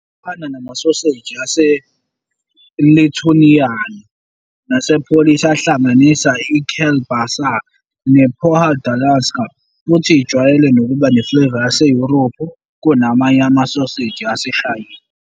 Ifana namasoseji ase-Lithuanian nase-Polish ahlanganisa i- kiełbasa ne- "podhalańska" futhi ijwayele ukuba ne-flavour yaseYurophu kunamanye amasoseji aseShayina.